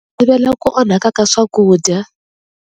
Ti ku onhaka ka swakudya.